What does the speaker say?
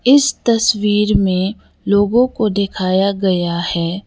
इस तस्वीर मे लोगों को दिखाया गया है।